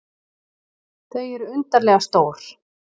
Þau eru undarlega stór.